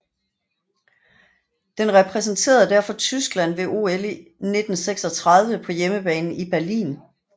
Den repræsenterede derfor Tyskland ved OL 1936 på hjemmebane i Berlin